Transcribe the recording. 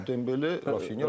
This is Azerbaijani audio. Yamal Dembele, Rafinia.